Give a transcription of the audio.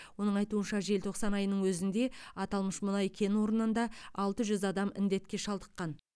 оның айтуынша желтоқсан айының өзінде аталмыш мұнай кен орнында алты жүз адам індетке шалдыққан